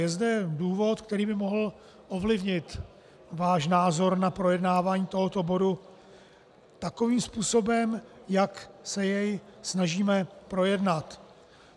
Je zde důvod, který by mohl ovlivnit váš názor na projednávání tohoto bodu takovým způsobem, jak se jej snažíme projednat.